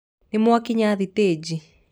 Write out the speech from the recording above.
Nĩmwakinya thitĩji.